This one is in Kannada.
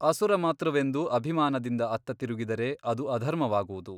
ಅಸುರಮಾತೃವೆಂದು ಅಭಿಮಾನದಿಂದ ಅತ್ತ ತಿರುಗಿದರೆ ಅದು ಅಧರ್ಮವಾಗುವುದು.